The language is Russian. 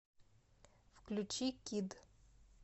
включи кидд